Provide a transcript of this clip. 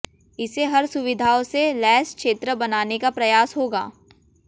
इसे हर सुविधाओं से लैस क्षेत्र बनाने का प्रयास होगा